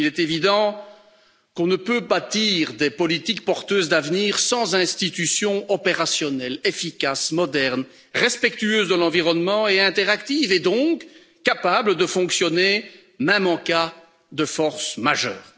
Il est évident qu'on ne peut bâtir des politiques porteuses d'avenir sans institutions opérationnelles, efficaces, modernes, respectueuses de l'environnement et interactives et donc capables de fonctionner, même en cas de force majeure.